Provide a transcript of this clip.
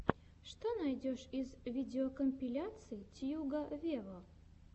что найдешь из видеокомпиляций тьюга вево